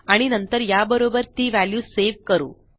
आणि नंतर याबरोबर ती व्हॅल्यू सेव्ह करू